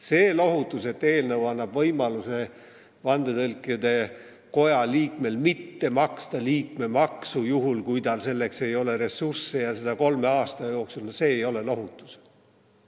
See, et eelnõu annab vandetõlkide koja liikmele võimaluse mitte maksta liikmemaksu, kui tal ei ole selleks ressurssi, ja seda kolme aasta jooksul, ei ole lohutus.